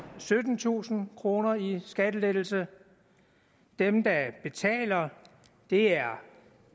syttentusind kroner i skattelettelse dem der betaler er